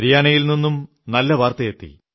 ഹരിയാനയിൽ നിന്നും നല്ല വാർത്ത എത്തി